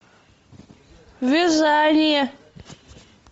вязание